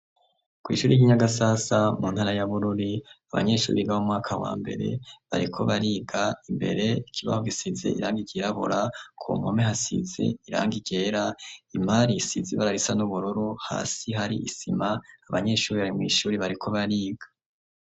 Kw'Ishure ry'Inyagasasa, Muntara ya bururi, Abanyeshure Biga Mumwaka wa mbere Bariko bariga, Imbere ikibaho cirabura, Kumpome hasize irangi ryera, Imari isize irangi ryirabura, Hasi hari Isima Abanyeshure Bari mw'Ishure bariko bariga.